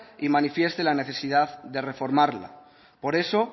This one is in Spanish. y manifieste la necesidad de reformarla por eso